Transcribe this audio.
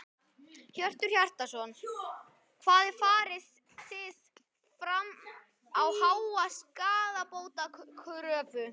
Hjörtur Hjartarson: Hvað farið þið fram á háa skaðabótakröfu?